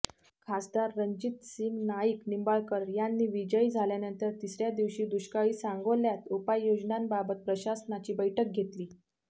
खासदार रणजितसिंह नाईक निंबाळकर यांनी विजयी झाल्यानंतर तिसऱ्या दिवशी दुष्काळी सांगोल्यात उपाययोजनांबाबत प्रशासनाची बैठक घेतली